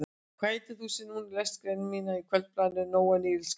Hvað heitir þú sem núna lest grein mína í Kvöldblaðinu, Jón Níelsson kannski?